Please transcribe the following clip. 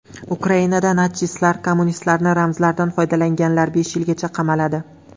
Ukrainada natsistlar va kommunistlarning ramzlaridan foydalanganlar besh yilgacha qamaladi.